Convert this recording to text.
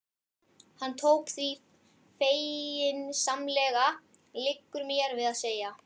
Hann tók því feginsamlega, liggur mér við að segja.